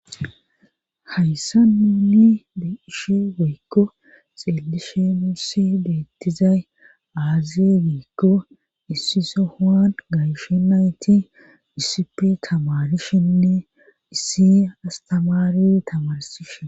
hayssan nuuni be'shi woykko xeelishe nuussi bettizay aazi giikko issi sohohan gayshe nayti issipe tamarishenne issi astamaari tamarsishen